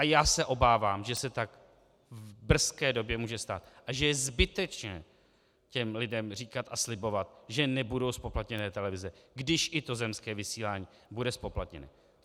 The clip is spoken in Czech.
A já se obávám, že se tak v brzké době může stát a že je zbytečné těm lidem říkat a slibovat, že nebudou zpoplatněné televize, když i to zemské vysílání bude zpoplatněno.